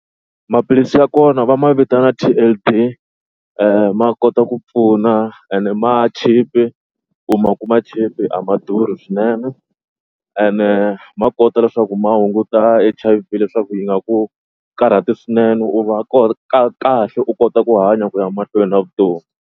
Maphilisi ya kona va ma vitana ma kota ku pfuna and ma cheap-i u ma kuma cheap a ma durhi swinene ene ma kota leswaku ma hunguta H_I_V leswaku yi nga ku karhati swinene u va ka kahle u kota ku hanya ku ya mahlweni na vutomi.